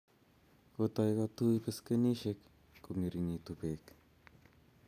Kotoi kotui beskenisiek kongeringitu bek